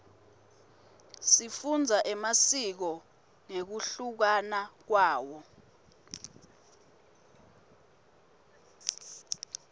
sifundza emasiko ngekunluka kwawo